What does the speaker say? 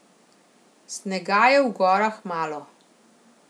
Snega je v gorah malo.